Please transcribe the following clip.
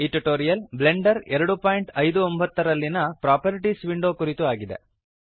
ಈ tutorial Blender 259 ನಲ್ಲಿಯ properties window ಕುರಿತು ಆಗಿದೆ